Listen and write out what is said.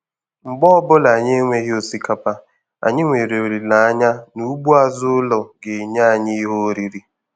Mgbe ọbụla anyị enweghi Osikapa, anyị nwere olileanya na ugbo azụ ụlọ ga-enye anyị ihe oriri.